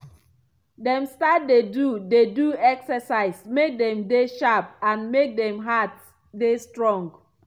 dem start dey do dey do exercise make dem dey sharp and make dem heart dey strong.